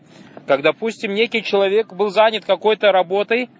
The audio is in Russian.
как допустим некий человек был занят какой-то работы